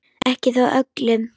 Ekki þó öllum.